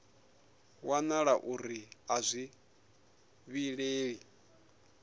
wanala uri a zwi vhilei